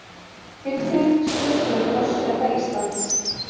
Tilkynning skrifstofu forseta Íslands